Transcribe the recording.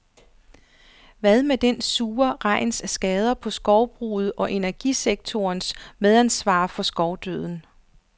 Hvad med den sure regns skader på skovbruget og energisektorens medansvar for skovdøden?